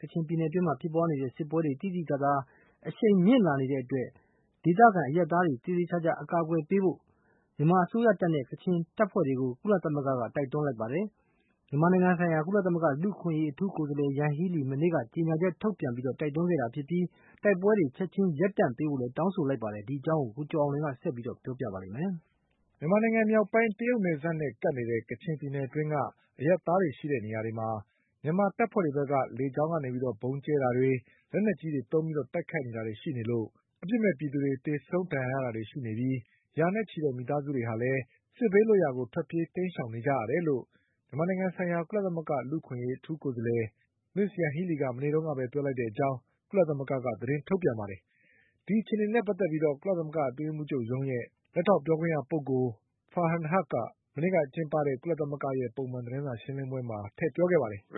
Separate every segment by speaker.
Speaker 1: ကချင်ပြည်နယ်တွင်း ဖြစ်ပွါးနေတဲ့စစ်ပွဲတွေ သိသိသာသာ အရှိန်မြင့်လာနေတဲ့အတွက် ဒေသခံအရပ်သားတွေကို သေသေချာချာ အကာအကွယ်ပေးဖို့ မြန်မာအစိုးရတပ်နဲ့ ကချင်တပ်ဖွဲ့တွေကို ကုလသမဂ္ဂက တိုက်တွန်းလိုက်ပါတယ်။ မြန်မာနိုင်ငံဆိုင်ရာ ကုလသမဂ္ဂ လူ့အခွင့်အရေးအထူးကိုယ်စားလည် ယန်ဟီးလီက မနေ့က ကြေညာချက်ထုတ်ပြန် တိုက်တွန်းခဲ့တာဖြစ်ပြီး တိုက်ပွဲတွေ ချက်ချင်းရပ်တန့် ပေးဖို့လည်း တောင်းဆိုလိုက်ပါတယ်။ ဒီအကြောင်း ကိုကျော်အောင်လွင်က ဆက်ပြီးပြောပြပါလိမ့်မယ်။ မြန်မာနိုင်ငံမြောက်ပိုင်း တရုတ်နယ်စပ်နဲ့ကပ်နေတ
Speaker 2: ဲ့ ကချင်ပြည်နယ်အတွင်းက အရပ်သားတွေရှိတဲ့နေရာတွေမှာ မြန်မာ တပ်ဖွဲ့တွေဘက်က လေကြောင်းကနေ ဗုံးတွေကျဲတာတွေ၊ လက်နက်ကြီးတွေသုံးပြီးတိုက်ခိုက်တာတွေရှိနေလို့ အပစ်မဲ့ ပြည်သူတွေ သေဆုံးဒဏ်ရာရတာတွေ ရှိနေပြီး ရာနဲ့ချီတဲ့မိသားစုတွေလည်း စစ်ဘေးလွတ်ရာထွက်ပြေးတိမ်းရှောင်နေကြရ တယ်လို့ မြန်မာနိုင်ငံဆိုင်ရာ ကုလသမဂ္ဂ လူ့အခွင့်အရေးအထူးကိုယ်စားလည် မစ္စ်ယန်ဟီးလီက မနေ့ကပဲ ပြောလိုက်တဲ့ အကြောင်း ကုလသမဂ္ဂက သတင်းထုတ်ပြန်ပါတယ်။ ဒီအခြေအနေနဲ့ပတ်သက်ပြီး ကုလသမဂ္ဂအတွင်းရေးမှုးချုပ်ရုံးရဲ့ လက်ထောက်ပြောခွင့်ရပုဂ္ဂိုလ် Farhan Haq က မနေ့ကကျင်းပတဲ့ ပုံမှန်သတင်းစာရှင်းလင်းပွဲမှာ ပြောခဲ့ပါတယ်
Speaker 3: ။ " မ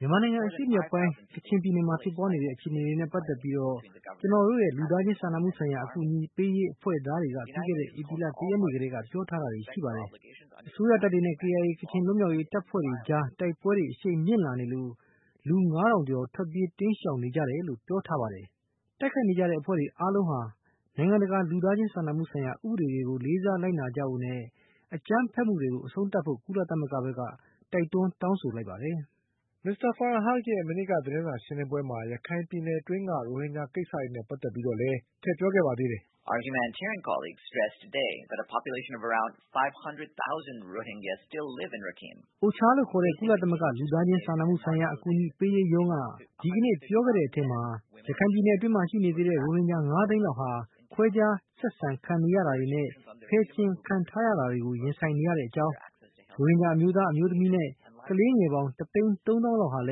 Speaker 1: ြန်မာနိုင်ငံအရှေ့မြောက်ပိုင်း ကချင်ပြည်နယ်မှာဖြစ်ပွါးနေတဲ့အခြေအနေတွေနဲ့ပတ်သက်ပြီး ကျနော်တို့ရဲ့ လူသားချင်း စာနာမှုဆိုင်ရာ အကူအညီပေးရေးအဖွဲ့သားတွေက ပြီးခဲ့တဲ့ ဧပြီလ တရက်နေ့ကတည်းက ပြောထားတာတွေရှိပါတယ်။ အစိုးရတပ်တွေနဲ့ KIA ကချင်လွတ်မြောက်ရေး တပ်ဖွဲ့တွေအကြားတိုက်ပွဲတွေ အရှိန်မြင့်လာနေလို့ လူငါးထောင်ကျော် ထွက်ပြေး တိမ်းရှောင်နေကြတယ်လို့ ပြောထားပါတယ်။ တိုက်ခိုက်နေကြတဲ့အဖွဲ့တွေအားလုံးဟာ နိုင်ငံတကာလူသား ချင်းစာနာမှုဆိုင်ရာ ဥပဒေတွေကို လေးစားလိုက်နာကြဖို့နဲ့ အကြမ်းဖက်မှုတွေကို အဆုံးသတ်ဖို့ ကုလသမဂ္ဂဘက်က တိုက်တွန်းတောင်းဆိုလိုက်ပါတယ်" မစ္စတာ Farhan Haq ရဲ့ မနေ့က
Speaker 2: သတင်းစာရှင်းလင်းပွဲမှာ ရခိုင်ပြည်နယ်အတွင်းက ရိုဟင်ဂျာကိစ္စနဲ့ပတ်သက်ပြီးလည်း ထည့်ပြောခဲ့ပါ သေးတယ်
Speaker 3: ။ "OCHA
Speaker 1: လို့ခေါ်တဲ့ ကုလသမဂ္ဂ လူသားချင်းစာနာမှုဆိုင်ရာ အကူအညီပေးရေးရုံးက ဒီကနေ့ပြောခဲ့တဲ့အထဲမှာ ရခိုင်ပြည် နယ်အတွင်းမှာရှိနေသေးတဲ့ ရိုဟင်ဂျာ ငါးသိန်းလောက်ဟာ ခွဲခြားဆက်ဆံခံနေရတာတွေနဲ့ ဖယ်ကျင်ခံထားရတာတွေကို ရင်ဆိုင်နေရတဲ့အကြောင်း၊ ရိုဟင်ဂျာအမျိုးသား၊ အမျိုးသမီးနဲ့ကလေးငယ်ပေါင်း တသိန်းသုံးသောင်းလောက်ဟာလ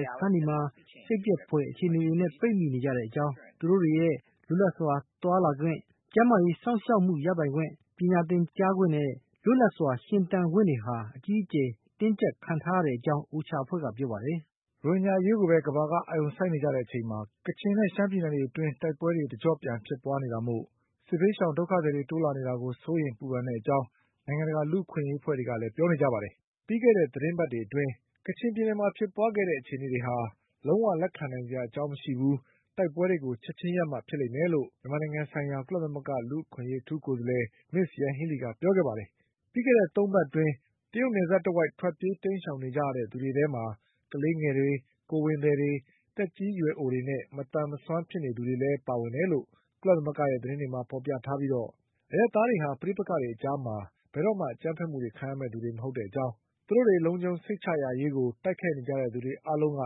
Speaker 1: ည်း စခန်းတွေထဲမှာ စိတ်ပျက်ဖွယ်အခြေအနေတွေနဲ့ပိတ်မိနေကြတဲ့အကြောင်း၊ သူတို့တွေရဲ့လွတ်လပ်စွာသွားလာခွင့်၊ ကျန်း မာရေးစောင့်ရှောက်မှုရပိုင်ခွင့်၊ ပညာသင်ကြားခွင့်နဲ့လွတ်လပ်စွာရှင်သန်ခွင့်တွေဟာလည်း အကြီးအကျယ်တင်းကျပ်ခံ ထားရတဲ့အကြောင်း OCHA အဖွဲ့ကပြောပါတယ်" ရိုဟင်ဂျာအရေးကိုပဲ ကမ္ဘာက
Speaker 2: အာရုံစိုက်နေကြချိန်မှာ ကချင်နဲ့ ရှမ်းပြည်နယ်တွေအတွင်း တိုက်ပွဲတွေတကျော့ပြန်ဖြစ်ပွါးနေတာ မို့ စစ်ရှောင်ဒုက္ခသည်တွေ တိုးလာနေတာအတွက် စိုးရိမ်စိတ်ပူကြောင်း နိုင်ငံတကာ လူ့အခွင့်ရေး အဖွဲ့တွေက ပြောပါတယ်။ ပြီးခဲ့တဲ့သီတင်းပတ်တွေအတွင်း ကချင်ပြည်နယ်မှာဖြစ်ပွါးခဲ့တဲ့အခြေအနေတွေဟာ လုံးဝလက်ခံနိုင်စရာအကြောင်းမရှိဘူး၊ တိုက်ပွဲတွေကို ချက်ချင်းရပ်မှဖြစ်မယ်လို့ မြန်မာနိုင်ငံဆိုင်ရာ ကုလသမဂ္ဂ လူ့အခွင့် အရေးအထူးကိုယ်စားလည် မစ်္စယန်ဟီးလီကပြောခဲ့ပါတယ်။ ပြီးခဲ့တဲ့သုံးပတ်အတွင်း တရုတ်နယ်စပ်တဝိုက်မှာ ထွက်ပြေး တိမ်းရှောင်နေကြတဲ့သူတွေထဲမှာ ကလေးငယ်တွေ၊ ကိုယ်ဝန်သည်တွေ၊ သက်ကြီးရွယ်အိုတွေနဲ့ မစွမ်းမသန်ဖြစ်နေသူ တွေလည်းပါဝင်တယ်လို့ ကုလသမဂ္ဂရဲ့သတင်းတွေမှာဖေါ်ပြထားပြီး အရပ်သားတွေဟာ ပဋိပက္ခတွေအကြားမှာ ဘယ် တော့မှ အကြမ်းဖက်မှုတွေခံကြရမယ့်သူတွေမဟုတ်ကြောင်း၊သူတို့တွေလုံခြုံစိတ်ရရရေးကို တိုက်ခိုက်နေကြတဲ့သူတွေ အားလုံးက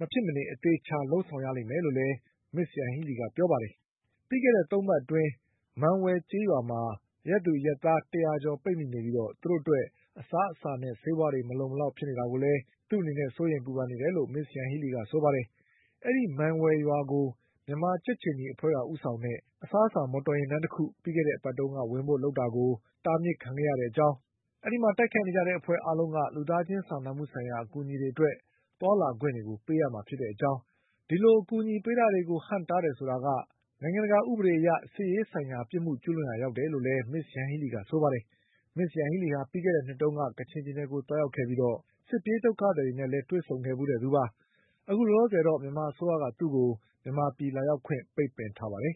Speaker 2: မဖြစ်မနေအသေအချာလုပ်ဆောင်ရလိမ့်မယ်လို့လည်း မစ္စယန်ဟီးလီကပြောပါတယ်။ ပြီးခဲ့တဲ့သုံးပတ်အတွင်း မံဝယ်ကျေးရွာမှာ အရပ်သူအရပ်သားတရာကျော်ပိတ်မိနေပြီး သူတို့အတွက် အစားအစာနဲ့ ဆေးဝါးတွေမလုံမလောက်ဖြစ် နေတာကိုလည်း သူ့အနေနဲ့စိုးရိမ်ပူပန်နေတယ်လို့ မစ္စယန်ဟီးလီကဆိုပါတယ်။ အဲဒီမံဝယ်ရွာကို မြန်မာကြက်ခြေနီအဖွဲ့ ကဦးဆောင်တဲ့ အစားအစာ မော်တော်ယဉ်တန်းတခု ပြီးခဲ့တဲ့အပတ်က ဝင်ဖို့လုပ်တာကို တားမြစ်ခံခဲ့ရတဲ့အကြောင်း၊ တိုက်ခိုက်နေကြတဲ့အဖွဲ့အားလုံးက လူသားချင်းစာနာမှုဆိုင်ရာအကူအညီတွေအတွက် သွားလာခွင့်ပေးရမှာဖြစ်တဲ့ အကြောင်း၊ ဒီလိုအကူအညီပေးတာတွေကို ဟန့်တားတယ်ဆိုတာက နိုင်ငံတကာဥပဒေအရ စစ်ရေးဆိုင်ရာ ပြစ်မှုကျူး လွန်ရာ ရောက်တယ်လို့လည်း မစ္စယန်ဟီးလီကဆိုပါတယ်။ မစ္စယန်ဟီးလီဟာ ပြီးခဲ့တဲ့နှစ်တုန်းက ကချင်ပြည်နယ်ကို သွားရောက်ခဲ့ပြီး စစ်ပြေးဒုက္ခသည်တွေနဲ့လည်းတွေ့ဆုံခဲ့ဖူးတဲ့သူပါ။ အခုလောလောဆယ်တော့ မြန်မာအစိုးရက သူ့ကို မြန်မာပြည်လာရောက်ခွင့်ပိတ်ပင်ထားပါတယ်